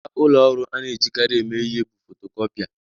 Ngwa ụlọ ọrụ a na-ejikarị eme ihe bụ fotokopia.